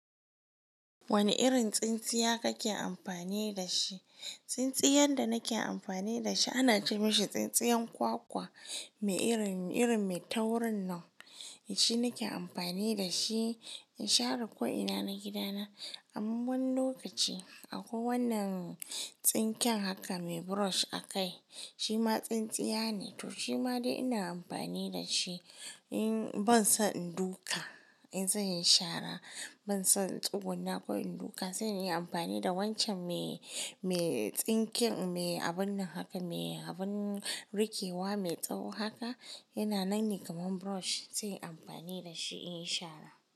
Wane irin tsintsiya kake amfani da shi? Tsintsiyar da nake amfani da shi ana kiranshi tsintsiyar kwakwa mai irin, irin mai taurin nan. Shi nake amfani da shi in share ko'ina na gida na. Amman lokaci akwai wannan tsinken haka mai brush a kai. Shi ma tsintsiya ne, to shi ma dai ina amfani da shi. In ban son in duka in zan yi shara, ban son tsugunna ko in duka, zan iya amfani da wancan me, me tsinken, me abun nan haka, me abun rikewa mai tsawo haka. Yana nan ne kamar brush. Zai yi amfani da shi in yi shara.